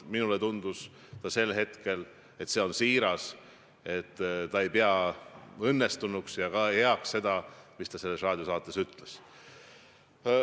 Minule tundus sel hetkel, et see oli siiras, et ta ei pidanud õnnestunuks ega heaks seda, mis ta selles raadiosaates ütles.